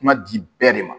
Kuma di bɛɛ de ma